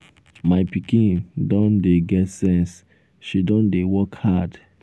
my pikin don dey get sense she don dey work hard.